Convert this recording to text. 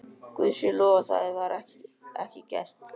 Guði sé lof að það var ekki gert.